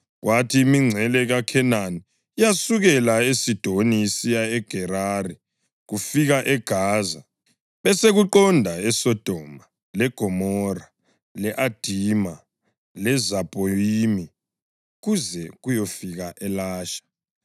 kwathi imingcele yeKhenani yasukela eSidoni isiya eGerari kufika eGaza, besekuqonda eSodoma, leGomora, le-Adima leZebhoyimi kuze kuyefika eLasha.)